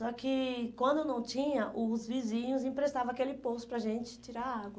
Só que, quando não tinha, os vizinhos emprestavam aquele poço para a gente tirar a água.